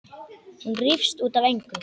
Hún rífst út af engu.